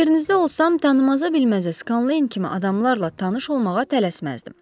Yerinizdə olsam tanımaza bilməzə Skaleyn kimi adamlarla tanış olmağa tələsməzdim.